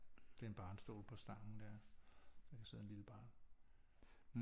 Det er en barnestol på stangen der kan sidde et lille barn